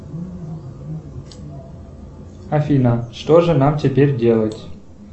афина что же нам теперь делать